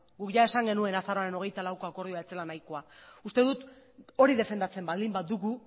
guk ia esan genuen azaroaren hogeita laueko akordioa ez zela nahikoa uste dut hori defendatzen baldin badugu